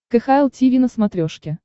кхл тиви на смотрешке